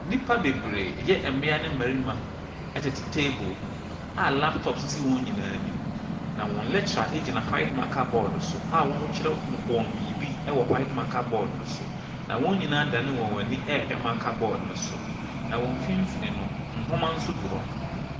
Nnipa bebree yɛ mmia ne mmarima ɛtete table ho a laptop esisi wɔn nyinaa ɛnim. Na wɔn lecturer egyina white marker board so a ɔkyerɛ no wɔn biribi ɛwɔ white marker board no so. Na wɔn nyinaa adane wɔn ani rehwɛ marker board no so. Na wɔn mfmfin no nnwoma nso gu hɔ.